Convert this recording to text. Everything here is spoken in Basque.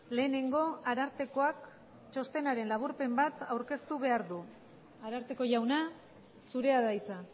lehenengo arartekoak txostenaren laburpen bat aurkeztu behar du ararteko jauna zurea da hitza